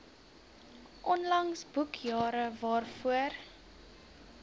onlangse boekjare waarvoor